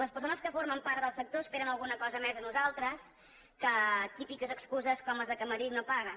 les persones que formen part del sector esperen alguna cosa més de nosaltres que típiques excuses com les que madrid no paga